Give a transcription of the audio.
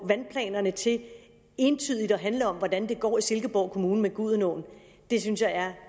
vandplanerne til entydigt at handle om hvordan det går i silkeborg kommune med gudenåen det synes jeg er